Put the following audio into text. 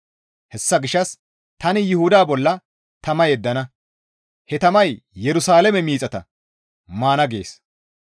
Hessa gishshas tani Yuhuda bolla tama yeddana; he tamay Yerusalaame miixata maana» gees.